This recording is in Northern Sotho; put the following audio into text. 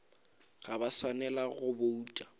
ga ba swanela go bouta